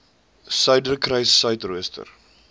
suiderkruissuidooster